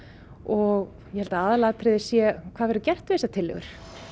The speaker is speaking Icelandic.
og ég held að aðalatriðið sé hvað verði gert við þessar tillögur